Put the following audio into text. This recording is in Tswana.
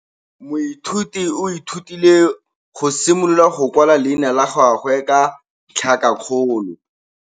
Moithuti o ithutile go simolola go kwala leina la gagwe ka tlhakakgolo.